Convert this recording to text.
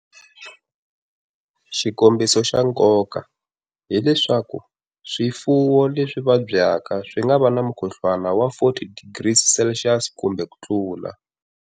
Xikombiso xa nkoka hi leswaku swifuwo leswi vadyaka swi nga va na mukhuhluwana wa 40 degrees Celsius kumbe ku tula.